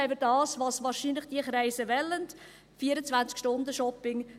Sonst haben wir das, was diese Kreise wahrscheinlich wollen: 24-Stunden-Shopping.